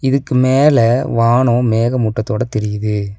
இதுக்கு மேல வானோ மேகமூட்டத்தோட தெரியிது.